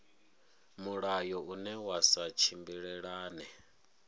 mulayo une wa sa tshimbilelane